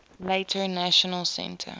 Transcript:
later national centre